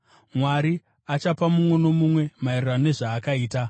Mwari “achapa mumwe nomumwe maererano nezvaakaita.”